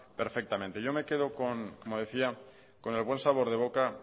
perfectamente yo me quedo como decía con el buen sabor de boca